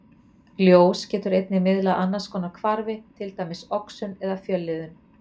Ljós getur einnig miðlað annars konar hvarfi, til dæmis oxun eða fjölliðun.